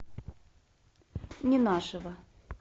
ненашева